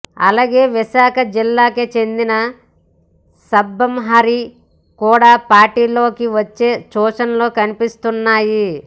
అలాగే విశాఖ జిల్లాకే చెందిన సబ్బం హరి కూడా పార్టీలోకి వచ్చే సూచనలు కన్పిస్తున్నాయి